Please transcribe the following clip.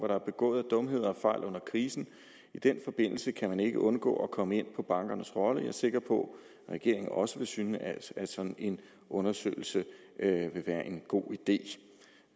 der er begået af dumheder og fejl under krisen i den forbindelse kan man ikke undgå at komme ind på bankernes rolle jeg er sikker på at regeringen også vil synes at sådan en undersøgelse vil være en god idé